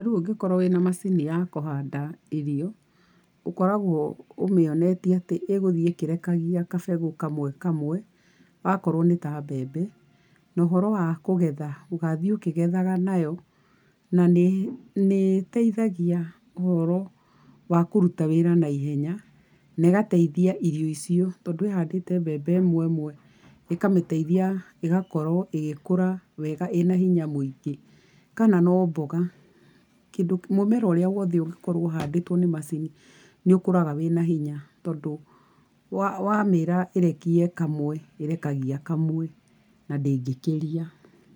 Rĩu ũngĩkorwo na macini ya kũhanda irio, ũkoragwo ũmionetie atĩ ĩgũthiĩ ĩkirekagia gabegũ kamwe kamwe. Akorwo nĩ ta mbembe, na ũhoro wa kũgetha ũgathiĩ ũkĩgethaga nayo, na nĩ nĩiteithagia ũhoro wa kũrutaa wĩra na ihenya, na ĩgateithia irio icio, tondũ ĩhandĩte mbembe ĩmwe ĩmwe, ikamĩteithia ĩgakorwo ĩgĩkũra wega ĩna hinya mũingĩ, kana no mboga, kĩndũ, mũmera ũrĩa wothe ũngĩkorwo ũhandĩtwo nĩ macii nĩũkũraga wĩna hinya tondũ, wa wamĩra ĩrekie kamwe, ĩrekagia kamwe, na ndĩngĩkĩria.